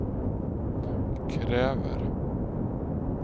kräver